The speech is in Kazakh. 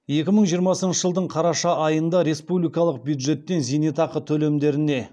екі мың жиырмасыншы жылдың қараша айында республикалық бюджеттен зейнетақы төлемдеріне